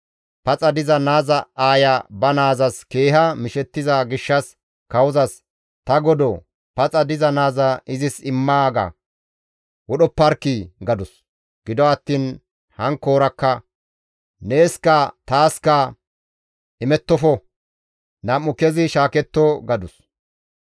Paxa diza naaza aaya ba naazas keeha mishettiza gishshas kawozas, «Ta godoo! Paxa diza naaza izis immaaga! Wodhopparkkii!» gadus. Gido attiin hankkoora, «Neeskka taaska imettofo; nam7u kezi shaaketto» gadus.